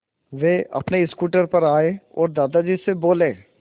वे अपने स्कूटर पर आए और दादाजी से बोले